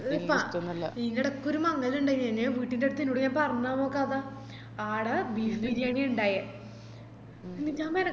E ഈന്റേടക്കൊരു മംഗലിണ്ടായിനെനെ വീട്ടിലെടുത്ത് ഇന്നോട് ഞാ പറഞ്ഞന്നോ കഥ ആട beef ബിരിയാണിയാ ഇണ്ടയെ